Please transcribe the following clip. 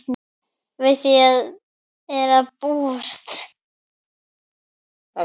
Við því er að búast.